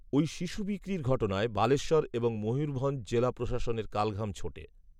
এই শিশু বিক্রির ঘটনায় বালেশ্বর এবং ময়ূরভঞ্জ জেলা প্রশাসনের কালঘাম ছোটে